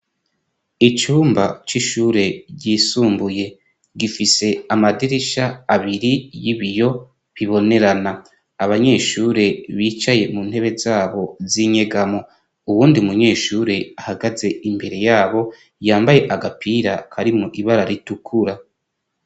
Icumba c’ishure ryisumbuye ,gifise amadirisha abiri y'ibiyo bibonerana abanyeshure bicaye mu ntebe zabo z'inyegamo ,uwundi munyeshure ahagaze imbere yabo yambaye agapira karimwo ibara ritukura.